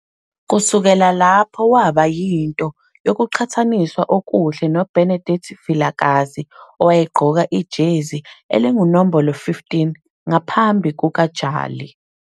Kusukela lapho waba yinto yokuqhathaniswa okuhle noBenedict Vilakazi - owayegqoka ijezi elingunombolo 15 ngaphambi kukaJali.